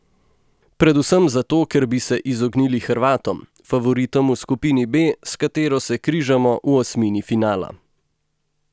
Predvsem zato, ker bi se izognili Hrvatom, favoritom v skupini B, s katero se križamo v osmini finala.